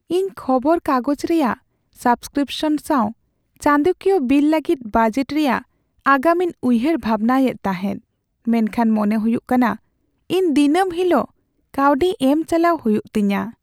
ᱤᱧ ᱠᱷᱚᱵᱚᱨ ᱠᱟᱜᱚᱡᱽ ᱨᱮᱭᱟᱜ ᱥᱟᱵᱽᱥᱠᱨᱤᱯᱥᱚᱱ ᱥᱟᱶ ᱪᱟᱸᱫᱚᱠᱤᱭᱟᱹ ᱵᱤᱞ ᱞᱟᱹᱜᱤᱫ ᱵᱟᱡᱮᱴ ᱨᱮᱭᱟᱜ ᱟᱜᱟᱢ ᱤᱧ ᱩᱭᱦᱟᱹᱨᱼᱵᱷᱟᱵᱽᱱᱟ ᱮᱫ ᱛᱟᱦᱮᱸᱫ, ᱢᱮᱱᱠᱷᱟᱱ ᱢᱚᱱᱮ ᱦᱩᱭᱩᱜ ᱠᱟᱱᱟ ᱤᱧ ᱫᱤᱱᱟᱹᱢ ᱦᱤᱞᱳᱜ ᱠᱟᱹᱣᱰᱤ ᱮᱢ ᱪᱟᱞᱟᱣ ᱦᱩᱭᱩᱜ ᱛᱤᱧᱟᱹ ᱾